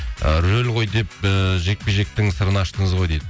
і рөл ғой деп ііі жекпе жектің сырын аштыңыз ғой дейді